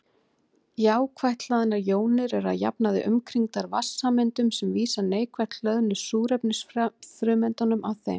Jákvætt hlaðnar jónir eru að jafnaði umkringdar vatnssameindum sem vísa neikvætt hlöðnu súrefnisfrumeindunum að þeim.